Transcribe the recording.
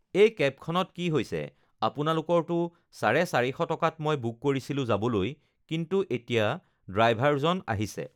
এই কেবখনত কি হৈছে আপোনালোকৰতো চাৰে চাৰিশ টকাত মই বুক কৰিছিলোঁ যাবলৈ কিন্তু এতিয়া ড্ৰাইভাৰজন আহিছে